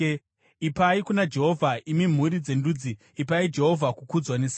Ipai kuna Jehovha, imi mhuri dzendudzi, ipai Jehovha kukudzwa nesimba,